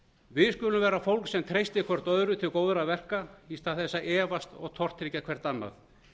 við skulum vera fólk sem treystir hvert öðru til góðra verka í stað þess að efast og tortryggja hvert annað